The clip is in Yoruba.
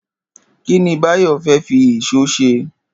Kí ni Báyò̩ fé̩ fi ìs̩ó s̩e?